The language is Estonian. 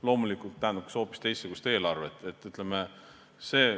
Loomulikult tähendaks see ka hoopis teistsugust eelarvet.